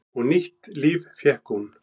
Og nýtt líf fékk hún.